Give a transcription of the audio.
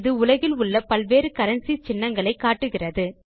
இது உலகில் உள்ள பல்வேறு கரன்சி சின்னங்களை காட்டுகிறது